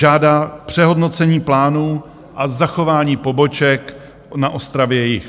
Žádá přehodnocení plánů a zachování poboček na Ostravě-Jih.